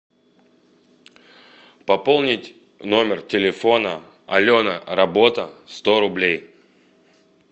пополнить номер телефона алена работа сто рублей